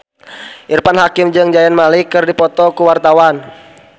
Irfan Hakim jeung Zayn Malik keur dipoto ku wartawan